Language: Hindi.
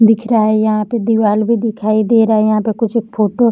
दिख रहा है यहाँ पे दिवाल भी दिखाई दे रहा है यहाँ पे कुछ एक फोटो --